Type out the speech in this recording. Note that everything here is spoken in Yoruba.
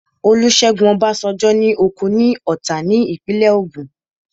Olúṣẹ́gun Ọbásanjọ́ ní oko ní Ọ̀tà ní ìpínlẹ̀ Ògùn